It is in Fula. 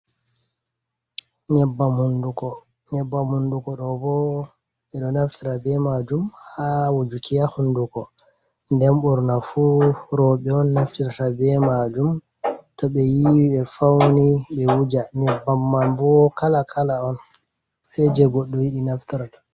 Nyebbam hunduko, nyebbam hunduko ɗo bo ɓeɗo naftita be majum ha wujuki ha hunduko. nden ɓurna fu roɓe on naftirta be majum, to ɓe yiwi ɓe fauni ɓe wuja nyebbam man bo kala kala on seje goɗɗo yiɗi naftarta.